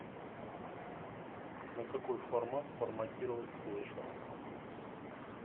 на какой формат форматировать флешку